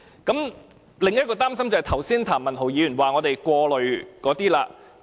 我另一個擔心是，譚文豪議員剛才指我們過慮的事情。